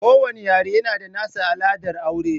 Kowanne yare yana da nasa al'adar aure